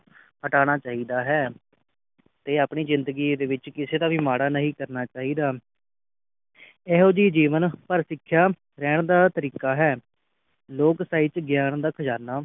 ਹਟਾਨਾ ਚਾਹੀਦਾ ਹੈ ਤੇ ਆਪਣੀ ਜਿੰਦਗੀ ਦੇ ਵਿਚ ਕਿਸੇ ਦਾ ਮਾੜਾ ਨਹੀਂ ਕਰਨਾ ਚਾਹੀਦਾ ਇਹੋ ਜੀ ਜੀਵਨ ਸਿਖਿਆ ਸਿੱਖਣ ਦਾ ਤਰੀਕਾ ਹੈ ਲੋਕ ਸਹਿਤ ਗਿਆਨ ਦਾ ਖਜ਼ਾਨਾ